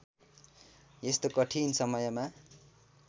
यस्तो कठिन समयमा